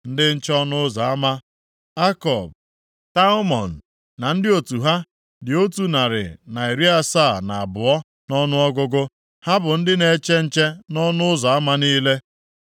Ndị nche ọnụ ụzọ ama, Akub, Talmon na ndị otu ha dị otu narị na iri asaa na abụọ (172) nʼọnụọgụgụ, ha bụ ndị na-eche nche nʼọnụ ụzọ ama niile.